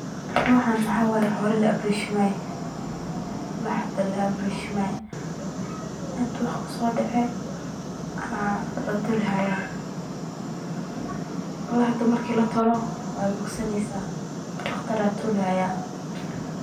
Waxaan waxaa waye xoola la abreeshimaayo, lax la abreeshimaayo, waxba kusoo dece, marka patolo waay bogsaneysa, daqtar ayaa toli haaya.